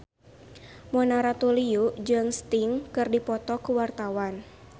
Mona Ratuliu jeung Sting keur dipoto ku wartawan